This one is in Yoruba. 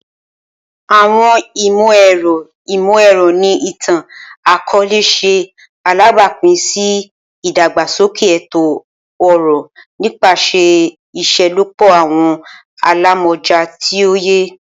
Awọn imọ-ẹrọ imọ-ẹrọ ni itan-akọọlẹ ṣe alabapin si idagbasoke eto-ọrọ nipasẹ iṣelọpọ awọn alamọja ti oye.